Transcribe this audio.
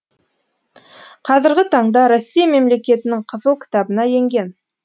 қазіргі таңда россия мемлекетінің кызыл кітабына енген